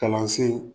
Kalansen